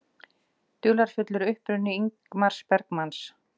Dularfullur uppruni Ingmars Bergman